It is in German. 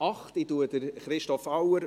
Ich verabschiede Christoph Auer.